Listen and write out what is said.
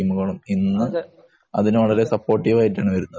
ടീമുകളും ഇന്ന് അതിനു വളരെ സപ്പോട്ടിവ് ആയിട്ടാണ്